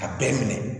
A bɛɛ minɛ